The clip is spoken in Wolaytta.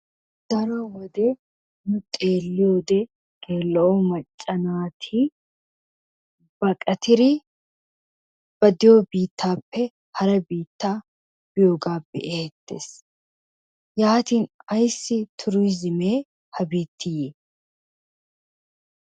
Daro wode nu xeelliyoode gella"o macca naati baqattidi ba diyo biittappe hara biitta biyooga be'tees. Yaatin tuurizimme ayssi ha biitti yii?